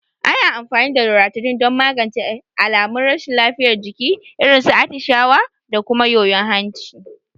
Ana amfani da Loratadin don magance alamun rashin lafiyar jiki, irin su atishawa da kuma yoyon hanci.